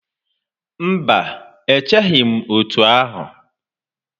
Mba, echeghị m otú ahụ